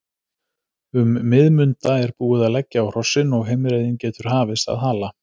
Um miðmunda er búið að leggja á hrossin og heimreiðin getur hafist að Hala.